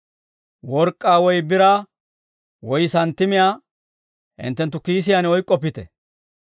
Work'k'aa woy biraa woy santtimiyaa hinttenttu kiisiyaan oyk'k'oppite;